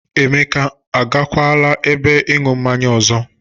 Emeka ọ gakwala ebe ịñụ mmanye ọzọ?